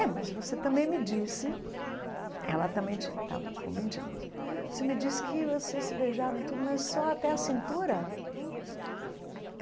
É, mas você também me disse, ela também tin estava com vinte anos, você me disse que vocês se beijavam e tudo, mas só até a cintura.